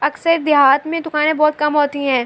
اکثر دیہات مے دکانی بھوت کم ہوتی ہے۔